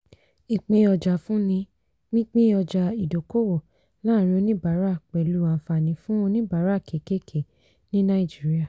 ìpín-ọjà-fúnni - pínpín ọjà ìdókòwò láàrin oníbàárà pẹ̀lú àǹfààní fún oníbàárà kékèké ní nàìjíríà.